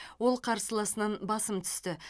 ол қарсыласынан басым түсті